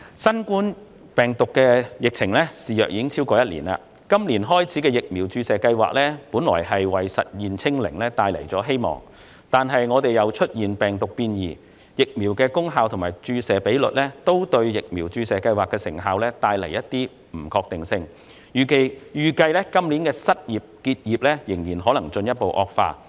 新冠病毒疫情已肆虐超過一年，今年展開的疫苗注射計劃本來為實現"清零"帶來希望，但病毒變異、疫苗功效存疑及注射比率不理想等因素，均對疫苗注射計劃的成效帶來不確定性，預計今年的失業及結業情況或會進一步惡化。